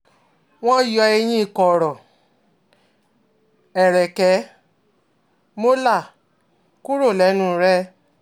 Wọ́n yọ eyín kọ̀rọ̀ ẹ̀rẹ̀kẹ́ ́ (molar) kúrò lẹ́nu rẹ̀